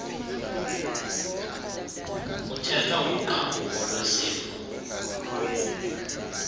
kuthethwa ngogqabhuko lwesifo